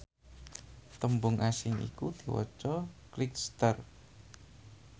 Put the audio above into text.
tembung asing iku diwaca cligjster